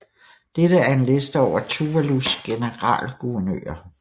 Dette er en liste over Tuvalus generalguvernører